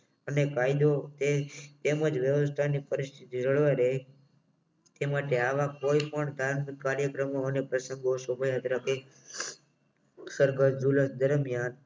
અને કાયદો તે તેમજ વ્યવસ્થાની પરિસ્થિતિ જળવાઈ રહે તે માટે આવા કોઈ પણ કામ કાર્યક્રમ અને પ્રસંગો શોભાયાત્રા ને અને દરમિયાન